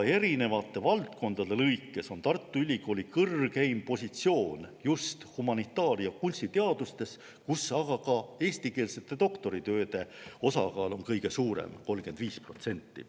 Erinevate valdkondade lõikes on Tartu Ülikoolil kõrgeim positsioon just humanitaar- ja kunstiteadustes, kus eestikeelsete doktoritööde osakaal on ka kõige suurem: 35%.